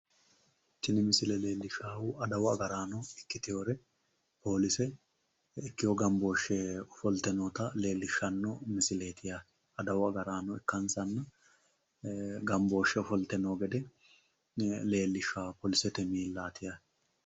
Tini misile leellishshaahu adawu agaraano ikkitiwore poolise ikkiwo gambooshshe ogolte noota leellishshanno misileeti yaate. Adawu agaraano ikkansanni gambooshshe ofolte noo gede leellishshawo poolisete miillaati yaate.